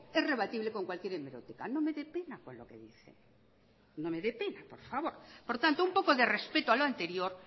es rebatible con cualquier hemeroteca no me dé pena con lo que dice no me dé pena por favor por tanto un poco de respeto a lo anterior